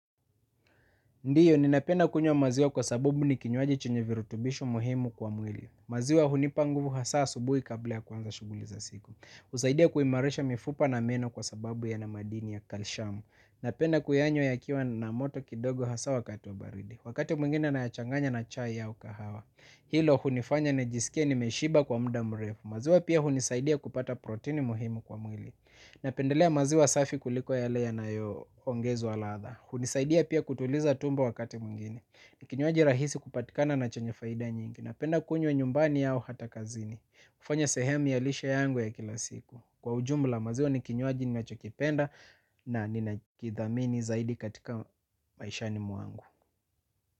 Ndiyo, ninapenda kunywa maziwa kwa sabubu ni kinywaji chenye virutubisho muhimu kwa mwili. Maziwa hunipa nguvu hasaa asubui kabla ya kuanza shughuli za siku. Husaidia kuimarisha mifupa na meno kwa sababu yana madini ya kalshamu. Napenda kuyanywa yakiwa na moto kidogo hasaa wakati wa baridi wakati mwingine nayachanganya na chai au kahawa. Hilo hunifanya nijisikie nimeshiba kwa mda mrefu. Maziwa pia hunisaidia kupata protini muhimu kwa mwili. Napendelea maziwa safi kuliko yale yanayo ongezwa latha. Hunisaidia pia kutuliza tumbo wakati mwingine. Ni kinywaji rahisi kupatikana na chenye faida nyingi. Napenda kunywa nyumbani au hata kazini hufanya sehemu ya lishe yangu ya kila siku. Kwa ujumla maziwa ni kinywaji ninachokipenda. Na nina kithamini zaidi katika maishani mwangu.